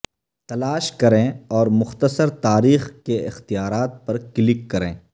تلاش کریں اور مختصر تاریخ کے اختیارات پر کلک کریں